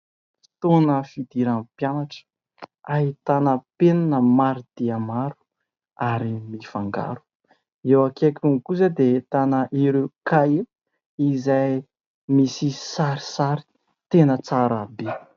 Fotoana fidiran'ny mpianatra. Ahitana penina maro dia maro ary mifangaro, eo akaikiny kosa dia ahitana ireo Kahier izay misy sarisary tena tsara be.